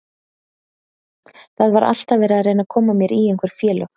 Það var alltaf verið að reyna að koma mér í einhver félög.